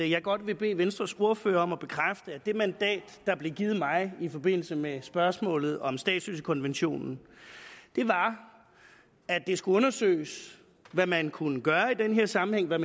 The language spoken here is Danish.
jeg godt vil bede venstres ordfører om at bekræfte at det mandat der blev givet mig i forbindelse med spørgsmålet om statsløsekonventionen var at det skulle undersøges hvad man kunne gøre i den her sammenhæng hvad